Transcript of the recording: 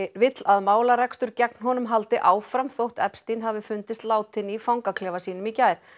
vill að málarekstur gegn honum haldi áfram þótt hafi fundist látinn í fangaklefa sínum í gær